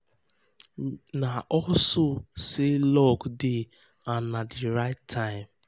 na also say luck dey and na the right time.